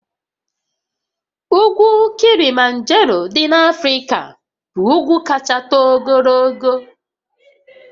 Ugwu Kilimanjaro dị n'Africa bụ ugwu kacha too ogologo